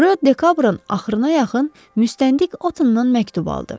Rö Dekabrın axırına yaxın müstəntiq Otından məktub aldı.